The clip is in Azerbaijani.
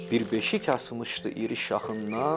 Bir beşik asmışdı iri şaxından.